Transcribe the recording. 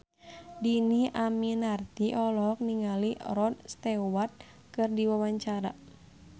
Dhini Aminarti olohok ningali Rod Stewart keur diwawancara